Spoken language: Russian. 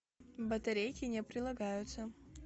батарейки не прилагаются